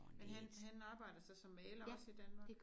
Men han han arbejder så som maler også i Danmark?